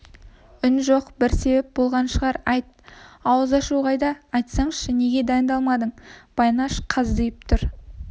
үн жоқ бір себеп болған шығар айт ауыз ашу қайда айтсаңшы неге дайындалмадың байнаш қаздиып тұр